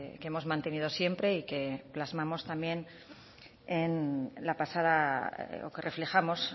que hemos mantenido siempre y plasmamos también reflejamos